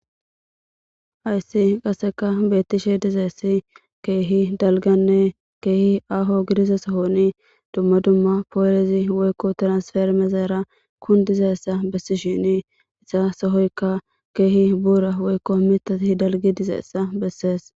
Hayes qasse betishe dizayiss kehi daliggane kehi aho gidiza duma duma tiranifereme kunidizayisa bessishini deyi sohoyika keh bura woyiko mithati daligidi dizayisa besesi